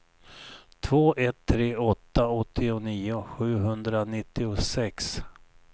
två ett tre åtta åttionio sjuhundranittiosex